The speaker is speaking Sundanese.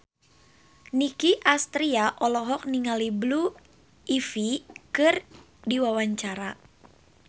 Nicky Astria olohok ningali Blue Ivy keur diwawancara